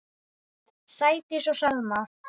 Sædís og Selma.